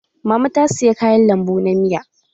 Mama ta saya kayan lambu na miya.